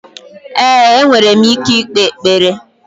Ee, enwere m ike ikpe ekpere.